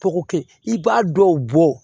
Popi i b'a dɔw bɔ